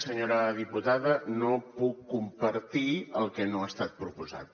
senyora diputada no puc compartir el que no ha estat proposat